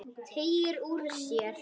Teygir úr sér.